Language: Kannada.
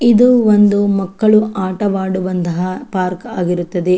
ಇದು ಒಂದು ಮಕ್ಕಳು ಆಟವಾಡುವಂತಹ ಪಾರ್ಕ್ ಆಗಿರುತ್ತದೆ.